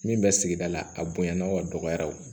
Min bɛ sigida la a bonyana aw ka dɔgɔya o